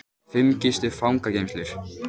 Fimm gistu fangageymslur